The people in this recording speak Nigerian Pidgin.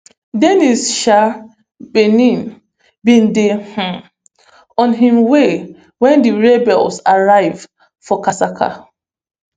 denis um baeni bin dey um on im way home wen di rebels arrive for kasika